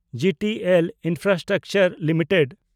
G T L infrastructure limited